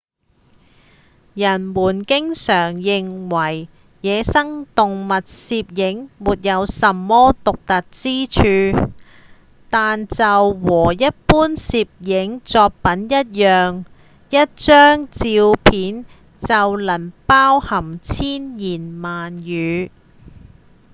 人們經常認為野生動物攝影沒什麼獨特之處但就和一般攝影作品一樣一張照片就能包含千言萬語